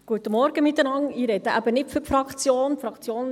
Ich spreche nicht für die Fraktion.